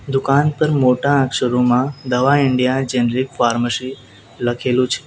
દુકાન પર મોટા અક્ષરોમાં દવા ઇન્ડિયા જનરિક ફાર્મસી લખેલું છે.